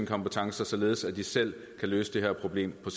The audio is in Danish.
kompetencer således at de selv kan løse det her problem på